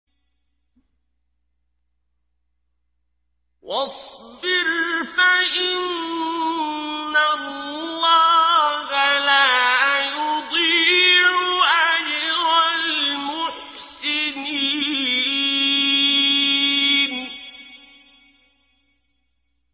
وَاصْبِرْ فَإِنَّ اللَّهَ لَا يُضِيعُ أَجْرَ الْمُحْسِنِينَ